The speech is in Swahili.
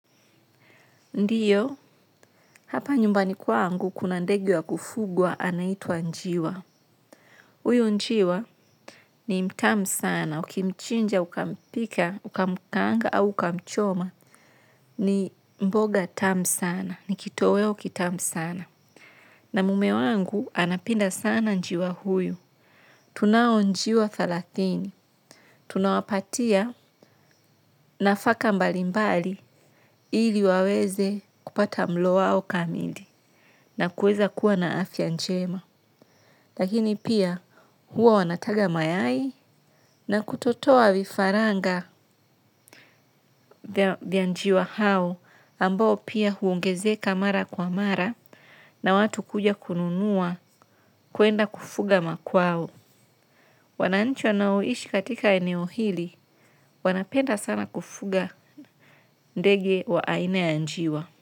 Ndiyo, hapa nyumbani kwangu kuna ndegi wa kufugwa anaitwa njiwa. Uyu njiwa ni mtamu sana. Ukimchinja ukampika, ukamkaanga au ukamchoma ni mboga tamu sana. Ni kitoweo kitamu sana. Na mume wangu anapenda sana njiwa huyu. Tunao njiwa thalathini. Tunawapatia nafaka mbalimbali ili waweze kupata mlo wao kamili. Na kueza kuwa na afya njema. Lakini pia huwa wanataga mayai na kutotoa vifaranga vya njiwa hao ambao pia huongezeka mara kwa mara na watu kuja kununuwa kuenda kufuga makwao. Wananchi wanao ishi katika eneo hili wanapenda sana kufuga ndege wa aina ya njiwa.